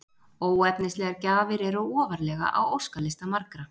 Óefnislegar gjafir eru ofarlega á óskalista margra.